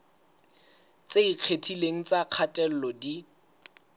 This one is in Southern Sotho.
tse ikgethileng tsa kgatello di